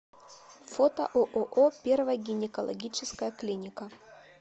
фото ооо первая гинекологическая клиника